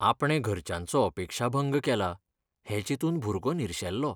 आपणें घरच्यांचो अपेक्षाभंग केला हें चिंतून भुरगो निरशेल्लो